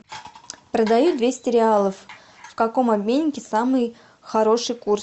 продаю двести реалов в каком обменнике самый хороший курс